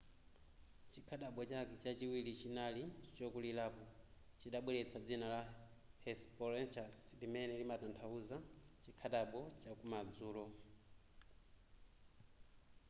chikhadabo chake chachiwiri chinali chokulirapo chidabweletsa dzina la hesperonychus limene limatanthauza chikhadabo chakumadzulo